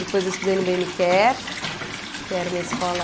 Depois eu estudei no Bem me Quer, que era uma escola...